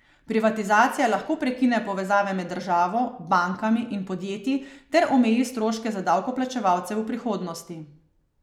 Privatizacija lahko prekine povezave med državo, bankami in podjetji ter omeji stroške za davkoplačevalce v prihodnosti.